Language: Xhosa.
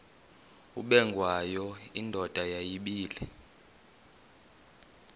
ubengwayo indoda yayibile